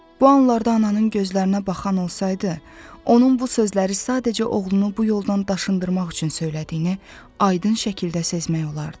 Bu anlarda ananın gözlərinə baxan olsaydı, onun bu sözləri sadəcə oğlunu bu yoldan daşındırmaq üçün söylədiyini aydın şəkildə sezmək olardı.